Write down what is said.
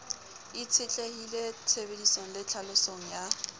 itshetlehile tshebedisong le tlhalosong ya